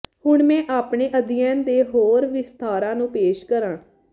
ਹੁਣ ਮੈਂ ਆਪਣੇ ਅਧਿਐਨ ਦੇ ਹੋਰ ਵਿਸਥਾਰਾਂ ਨੂੰ ਪੇਸ਼ ਕਰਾਂ